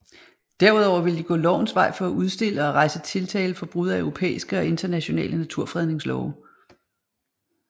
Derudover ville de gå lovens vej for at udstille og rejse tiltale for brud af europæiske og internationale naturfredningslove